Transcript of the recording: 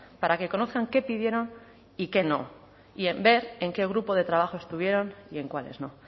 para que conozcan qué pidieron y qué no y en ver en qué grupo de trabajo estuvieron y en cuáles no